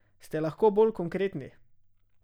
Ste lahko bolj konkretni?